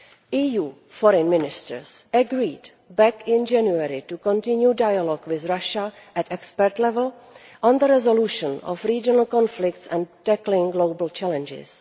EU Foreign Ministers agreed back in January to continue dialogue with Russia at expert level on the resolution of regional conflicts and tackling global challenges.